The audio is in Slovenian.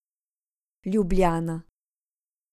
Ljubljana.